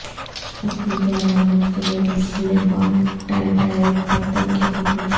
رقم کی علامات کے لئے لیبارڈائٹائٹ پتھر کی خصوصیات